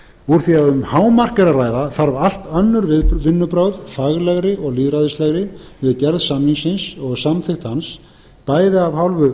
úr því að um hámark er að ræða þarf allt önnur vinnubrögð faglegri og lýðræðislegri við gerð samningsins og samþykkt hans bæði af hálfu